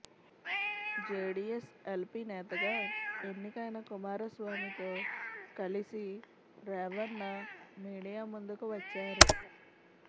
JDS LP నేతగా ఎన్నికైన కుమారస్వామితో కలిసి రేవణ్ణ మీడియా ముందుకు వచ్చారు